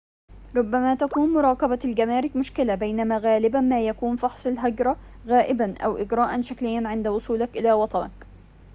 ربما تكون مراقبة الجمارك مشكلة بينما غالباً ما يكون فحص الهجرة غائباً أو إجراءً شكلياً عند وصولك إلى وطنك